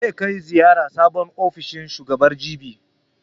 Zai kai ziyara sabon ofishin shugaban, jibi.